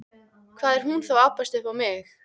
Hvað er hún þá að abbast upp á mig?